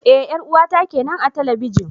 Eh 'yar uwata kenan a talabijin.